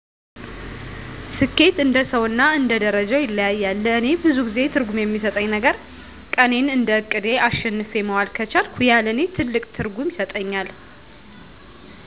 ስኬት እንደሰው እና እንደ ደርጃው ይለያያል ለእኔ ብዙ ጊዜ ትርጉም የሚሰጠኝ ነገረ ቀኔን እንደ እቅዴ አሸንፌ መዋል ከቻልኩ ያ ለእኔ ትልቅ ትርጉም ይሰጠኛል።